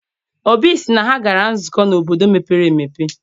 Obi sị na ha gara nzukọ n'obodo mepere emepe.